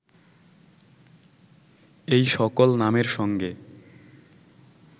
এই সকল নামের সঙ্গে